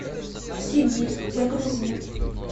сибирь загрузи